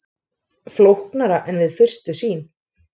Flóknara en við fyrstu sýn